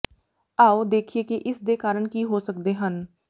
ਆਓ ਦੇਖੀਏ ਕਿ ਇਸ ਦੇ ਕਾਰਨ ਕੀ ਹੋ ਸਕਦੇ ਹਨ